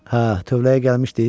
Hə, tövləyə gəlmişdi?